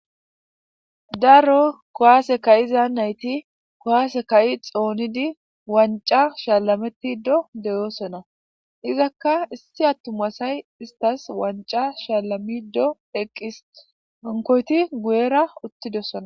daro kowaase kayiza nayti kowaase ka7i xoonidi wanca shaalametido deyoosona izakka issi attumasay istas wanca shaalamido eqqis onkoyti guyera uttidossona